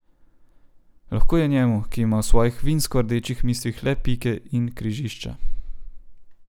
Lahko je njemu, ki ima v svojih vinsko rdečih mislih le pike in križišča.